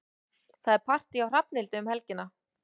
Það er partí hjá Hrafnhildi um helgina.